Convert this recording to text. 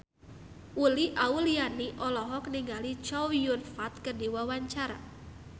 Uli Auliani olohok ningali Chow Yun Fat keur diwawancara